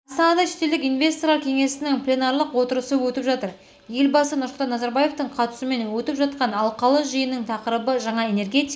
астанада шетелдік инвесторлар кеңесінің пленарлық отырысы өтіп жатыр елбасы нұрсұлтан назарбаевтың қатысуымен өтіп жатқан алқалы жиынның тақырыбы жаңа энергетика